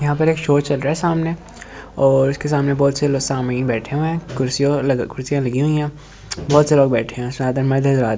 यहां पर एक शो चल रहा है सामने और उसके सामने बहुत से लोग सामनी बैठे हुए हैं कुर्सियों कुर्सियां लगी हुई हैं बहुत से लोग बैठे हैं--